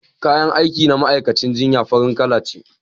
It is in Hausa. kayan aiki na ma'aikacin jinya farin Kala ce